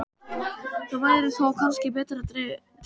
Það væri þó kannski betra að dreypa á.